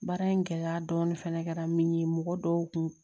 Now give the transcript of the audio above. Baara in gɛlɛya dɔɔni fana kɛra min ye mɔgɔ dɔw kun